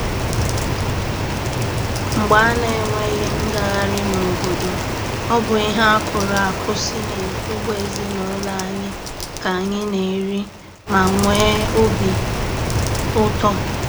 Mgbe a na-enweghi ngagharị n'obodo, ọ bụ ihe akụrụ akụ si n'ugbo ezinụlọ anyị ka anyị na-eri ma nwee obi ụtọ.